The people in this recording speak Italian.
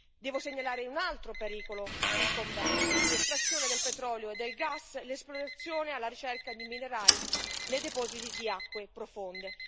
Devo segnalare un altro pericolo incombente l'estrazione del petrolio e del gas, l'esplorazione alla ricerca di minerali nei depositi di acque profonde.